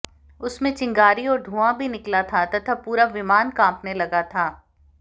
उसमें चिंगारी और धुंआ भी निकला था तथा पूरा विमान कांपने लगा था